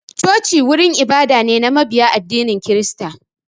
Choci wurin ibada ce na mabiya addinin kirista